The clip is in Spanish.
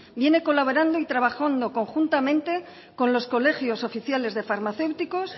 viene colaborando y trabajando conjuntamente con los colegios oficiales de farmacéuticos